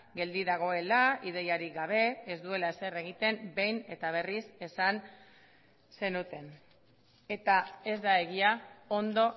geldi dagoela ideiarik gabe ez duela ezer egiten behin eta berriz esan zenuten eta ez da egia ondo